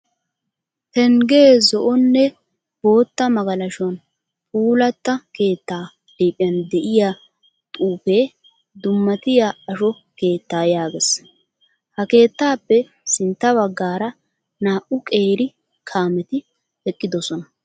Penggee zo"o nne bootta magalashuwan puulatta keettaa liiphiyan de'iya xuufee dummatiya asho keetta yaagees. Ha keettaappe sintta baggaara naa"u qeeri kaameti eqqidosona.